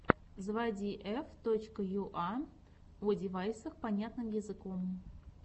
заводи ф точка юа о девайсах понятным языком